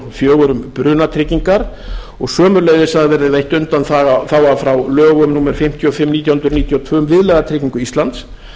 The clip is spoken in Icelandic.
fjögur um brunatryggingar og sömuleiðis að verði veitt undanþága frá lögum númer fimmtíu og fimm nítján hundruð níutíu og tvö um viðlagatryggingu íslands